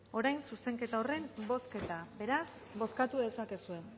orain zuzenketa horren bozketa beraz bozkatu dezakezue